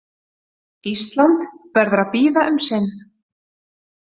Ísland verður að bíða um sinn.